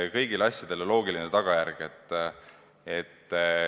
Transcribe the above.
Kõigil asjadel on loogiline tagajärg.